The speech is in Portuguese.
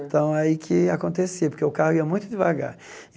Então, aí que acontecia, porque o carro ia muito devagar.